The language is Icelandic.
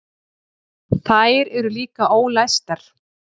Þær eru líka ólæstar.